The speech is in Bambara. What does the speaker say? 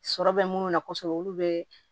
Sɔrɔ bɛ minnu na kosɛbɛ olu bɛ